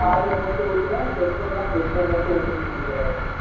oil மட்டும் ஊத்தணு petrol னா petrol மட்டும் ஊத்தணும் நெனைக்குற